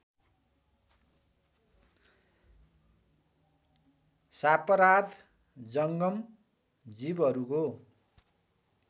सापराध जङ्गम जीवहरूको